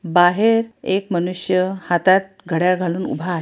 बाहेर एक मनुष्य हातात घड्याळ घालून उभा आहे.